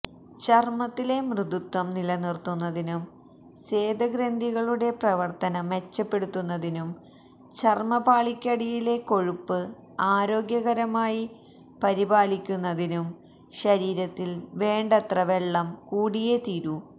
ചര്മത്തിലെ മൃദുത്വം നിലനിര്ത്തുന്നതിനും സ്വേദഗ്രന്ഥികളുടെ പ്രവര്ത്തനം മെച്ചപ്പെടുത്തുന്നതിനും ചര്മപാളിക്കടിയിലെ കൊഴുപ്പ് ആരോഗ്യകരമായി പരിപാലിക്കുന്നതിനും ശരീരത്തില് വേണ്ടത്ര വെള്ളം കൂടിയേ തീരൂ